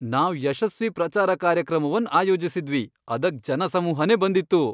ನಾವ್ ಯಶಸ್ವಿ ಪ್ರಚಾರ ಕಾರ್ಯಕ್ರಮವನ್ ಆಯೋಜಿಸಿದ್ವಿ , ಅದಕ್ ಜನಸಮೂಹನೇ ಬಂದಿತ್ತು.